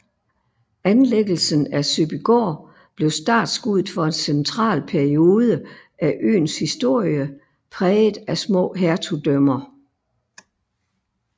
Anlæggelsen af Søbygaard blev startskuddet for en central periode af øens historie præget af små hertugdømmer